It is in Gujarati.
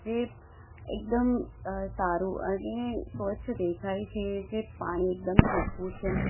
એ એકદમ અહ સારું અને સ્વચ્છ દેખાય છે જે પાણી એકદમ ચોખ્ખું છે.